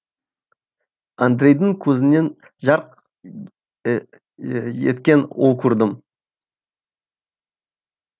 андрейдің көзінен жарқ еткен от көрдім